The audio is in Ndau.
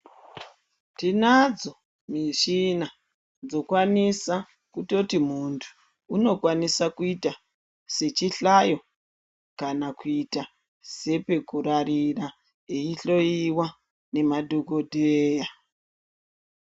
Tinadzo michina dzinokwanisa kuti muntu unokwanisa kuita sechihlayo kana kuita sepekurarira echihloyiwa ngema dhokodheya.